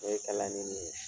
O ye kalani nin ye